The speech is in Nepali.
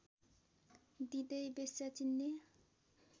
दिँदै वेश्या चिन्ने